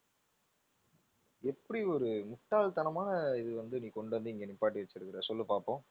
எப்படி ஒரு முட்டாள் தனமான இது வந்து நீ கொண்டு வந்து இங்க நிப்பாட்டி வச்சிருக்குற சொல்லு பாப்போம்.